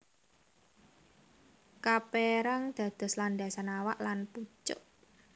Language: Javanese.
Kaperang dados landasan awak lan pucuk